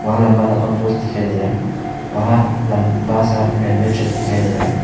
वहां लंबा लंबा पोस्ट दिखाई दे रहा है वहां लंबा बड़ा सा रेलवे ट्रैक दिखाई दे रहा है।